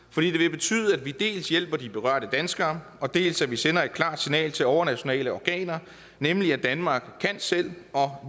betyde at vi dels hjælper de berørte danskere og dels sender et klart signal til overnationale organer nemlig at danmark kan selv og